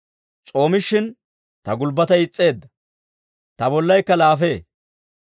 S'oomishin ta gulbbatay is's'eedda; ta bollaykka laafee.